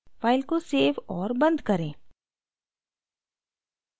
file को save और बंद करें